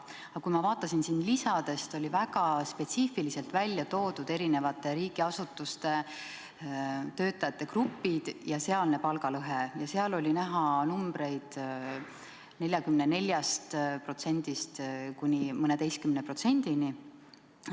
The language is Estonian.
Aga kui ma vaatan neid lisasid, siis siin on väga spetsiifiliselt välja toodud erinevate riigiasutuste töötajate grupid ja seda palgalõhet uurides on näha numbreid 44%-st kuni mõneteistkümne protsendini.